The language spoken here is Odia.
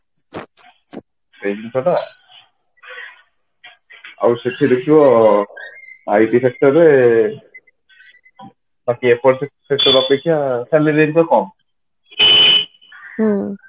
ଆଉ ସେଠି ଦେଖିବ IT sector ରେ sector ଅପେକ୍ଷା salary କମ